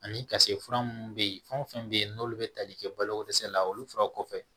Ani ka se fura minnu bɛ yen fɛn fɛn bɛ yen n'olu bɛ tali kɛ baloko dɛsɛ la olu fura kɔfɛ